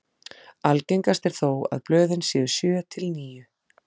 Algengast er þó að blöðin séu sjö til níu.